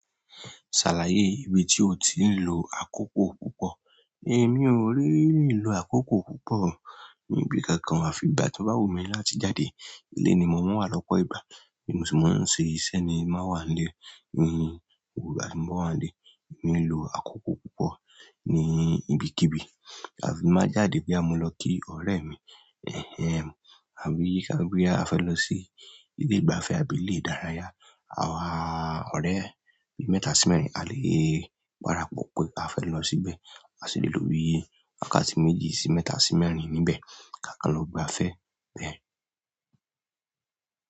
"Ṣàlàyé ibi tí o ti ń lo àkókò púpọ̀." Mi ò ń really lo àkókò púpọ̀ níbi kankan, àfi ìgbà tí bá wù mí láti jáde. Ilé ni mo ń wà lọ́pọ̀ ìgbà, èmi ò sì máa ń ṣe iṣẹ́ ni má wà ní ilé. Mi ò bá ń wà ní ilé, èmi ń lo àkókò púpọ̀ ní ibikíbi. Àfi má jáde bí a bá lọ kí ọ̀rẹ́ mi, àbí bí a fẹ́ lọ sí ilé ìgbafẹ́ àbí ilé ìdárayá. Àwa ọ̀rẹ́ bí mẹ́ta sí mẹ́rin a lè parapọ̀ pé a fẹ́ lọ síbẹ̀, a sì lè lo bí wákàtí méjì sí mẹ́ta sí mẹ́rin níbẹ̀ ká kàn lọ gbafẹ́ bẹ́ẹ̀.